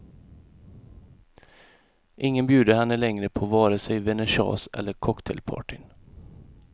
Ingen bjuder henne längre på vare sig vernissage eller cocktailpartyn.